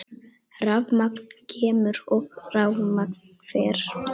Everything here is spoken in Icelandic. Rafmagn kemur og rafmagn fer.